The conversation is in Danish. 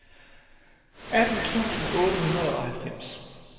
atten tusind otte hundrede og halvfems